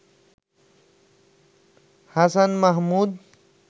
Hasan Mahmud